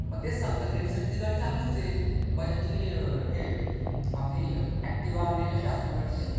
मग तेच सांगतोय ना लडीएस साठी ती गाडी चांगलीच आहे ती बजाज ची आपली ऍक्टिव्ह हे कश्या असतात तशीच आहे गाडी ती.